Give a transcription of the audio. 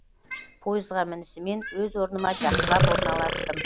пойызға мінісімен өз орныма жақсылап орналастым